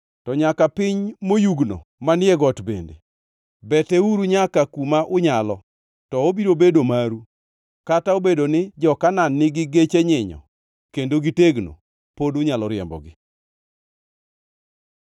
to nyaka piny moyugno manie got bende. Beteuru nyaka kuma unyalo, to obiro bedo maru; kata obedo ni jo-Kanaan nigi geche nyinyo kendo gi tegno, pod unyalo riembogi.”